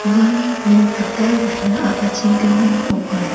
uan nok gital rikna a·bachenggimin ong·a.